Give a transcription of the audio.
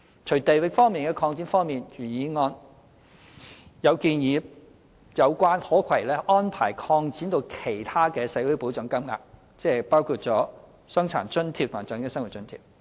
除地域方面的擴展外，原議案也建議把有關可攜安排擴展至其他的社會保障金額，即包括傷殘津貼和長者生活津貼。